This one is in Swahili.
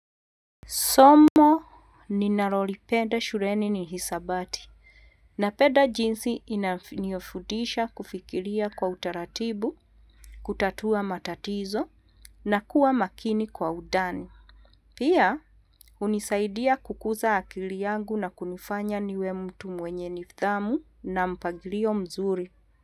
Somo ninalolipenda shuleni ni hisabati napenda jinsi inafundisha kufikiria kwa utaratibu, kutatua matatizo na kuwa makini kwa undani. Pia hunisaidia kukuza akili yangu na kunifanya niwe mtu mwenye nidthamu na mpangilio mzuri.